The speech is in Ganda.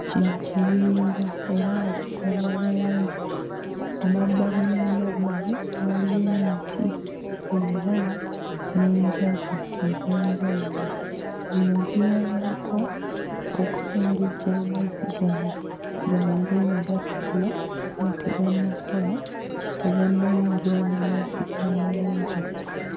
Kino kiwonvu era nga kikola ennyanja. Emabbali n'emabbali waliyo emiti era n'enjazi ez'enjawulo. Zino ziyambako okusengejja amazzi gano gabeere nga gatukula nga tegannakola tegannayingira mu mazzi ga nnyanja.